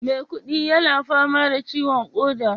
maikudi yana fama da ciwon koda